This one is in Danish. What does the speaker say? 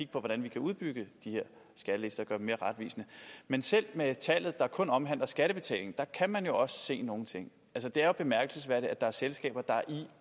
på hvordan vi kan udbygge de her skattelister dem mere retvisende men selv med tallet der kun omhandler skattebetaling kan man jo også se nogle ting det er bemærkelsesværdigt at der er selskaber der i